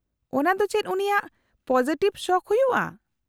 -ᱚᱱᱟ ᱫᱚ ᱪᱮᱫ ᱩᱱᱤᱭᱟᱜ ᱯᱚᱡᱮᱴᱷᱤᱵ ᱥᱚᱠᱷ ᱦᱩᱭᱩᱜᱼᱟ ?